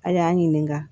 A y'an ɲininka